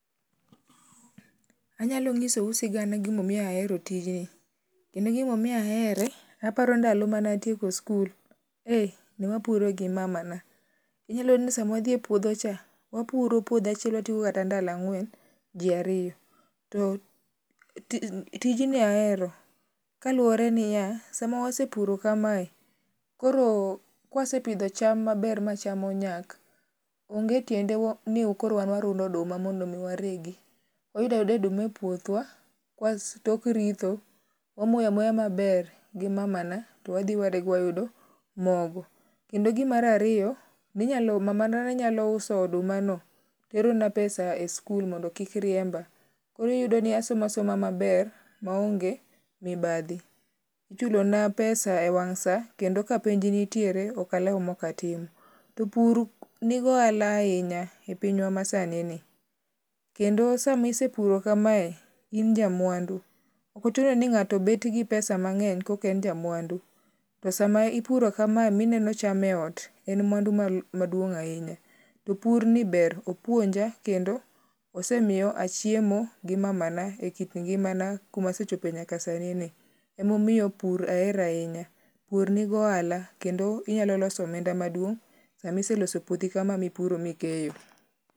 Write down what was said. Anyalo nyisou sig gimomiyo ahero tijni. Kendo gimomiyo ahere, aparo ndalo mene atieko skul. Eh, ne wapuro gi mamana. Inyalo yudo ni sama wadhi e puodho cha, wapuro puodho achiel watieko kata ndalo ang'wen ji ariyo. To, tijni ahero. Kaluwore niya, sama wasepuro kamae, koro kwasepidho cham maber ma cham onyak, onge tiende ni koro wan warundo oduma mondo mi waregi. Wayudo ayuda oduma e puothwa tok ritho. Wamoyo amoya maber gi mamana to wadhi warego wayudo mogo. Kendo gi mar ariyo, mamana ne nyalo uso odumano terona pesa e skul mondo kik riemba. Koro iyudo ni asomo asoma maber maonge mibadhi. Ichulo na pesa e wang' sa kendo ka penj nitiere ok alew mok atimo. To pur nigohala ahinya e pinywa ma sani ni. Kendo samisepuro kamae in ja mwandu. Ok ochuno ng'ato bet gi pesa mang'eny koka en ja mwandu. To sama ipuro kamae minenio cham e ot en mwandu maduon'g ahinya. To pur ni ber. Opuonja kendo osemiyo achiemo gi mamana ekit ngimana kumasechope nyaka sani ni. Emomiyo pur ahero ahinya. Pur nigi ohala kendo inyalo loso omenda maduong' sama iseloso puothi kama mipuro mikeyo.